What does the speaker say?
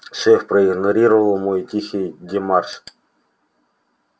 шеф проигнорировал мой тихий демарш